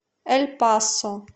эль пасо